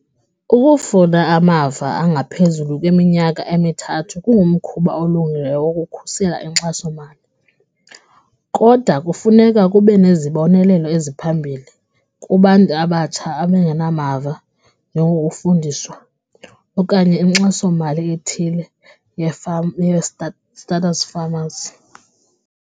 Ukufuna amava angaphezulu kweminyaka emithathu kungumkhuba olungileyo wokukhusela inkxasomali kodwa kufuneka kube nezibonelelo eziphambili kubantu abatsha abangenamava nokufundiswa okanye inkxasomali ethile ye-farm, starters farmers.